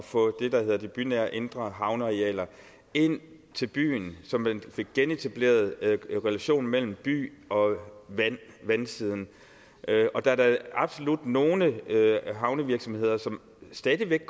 få det der hedder de bynære indre havnearealer ind til byen så man fik genetableret relationen mellem by og vandsiden der er da absolut nogle havnevirksomheder som stadig væk